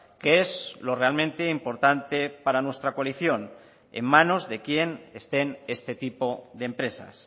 que es lo realmente importante para nuestra coalición en manos de quien estén este tipo de empresas